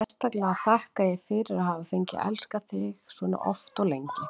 Sérstaklega þakka ég fyrir að hafa fengið að elska þig svona oft og lengi.